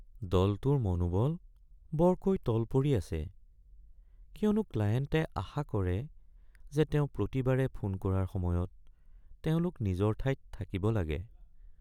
দলটোৰ মনোবল বৰকৈ তল পৰি আছে কিয়নো ক্লাইণ্টে আশা কৰে যে তেওঁ প্ৰতিবাৰে ফোন কৰাৰ সময়ত তেওঁলোক নিজৰ ঠাইত থাকিব লাগে।